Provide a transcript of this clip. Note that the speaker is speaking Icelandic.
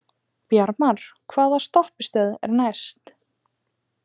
Bjarmar, hvaða stoppistöð er næst mér?